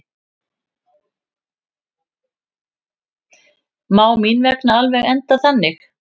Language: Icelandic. Má mín vegna alveg enda þannig.